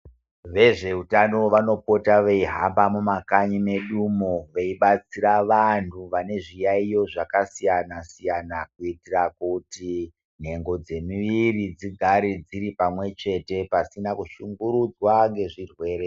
Vezveutano vanopota vachihamba mumakanyi medu umo vechibatsira vantu vane zviyayiyo zvakasiyana-siyana kuitira kuti nhengo dzemuviriri dzigare dziri pamwe chete pasina kushungurudzwa nezvirwere.